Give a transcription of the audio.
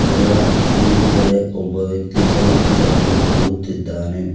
ಇದರ ಮುಂದುಗಡೆ ಒಬ್ಬ ವ್ಯಕ್ತಿ ಬೈಕ್ ತಗಂದು ಹೋಗುತ್ತಿದ್ದಾನೆ.